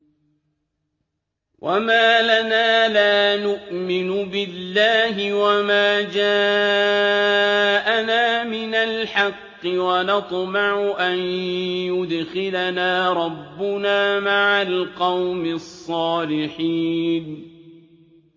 وَمَا لَنَا لَا نُؤْمِنُ بِاللَّهِ وَمَا جَاءَنَا مِنَ الْحَقِّ وَنَطْمَعُ أَن يُدْخِلَنَا رَبُّنَا مَعَ الْقَوْمِ الصَّالِحِينَ